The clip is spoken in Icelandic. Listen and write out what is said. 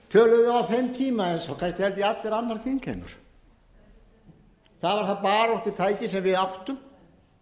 á þeim tíma eins og kannski annar þingheimur það var það baráttutæki sem við áttum